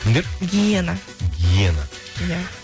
кімдер гиена гиена иә